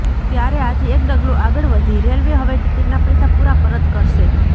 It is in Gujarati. ત્યારે આથી એક ડગલું આગળ વધી રેલવે હવે ટિકિટના પૈસા પૂરા પરત કરશે